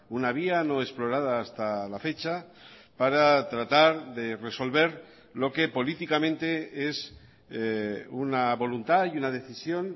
una vía no explorada hasta la fecha para tratar de resolver lo que políticamente es una voluntad y una decisión